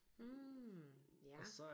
Hm ja